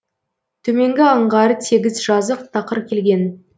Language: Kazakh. төменгі аңғары тегіс жазық тақыр келген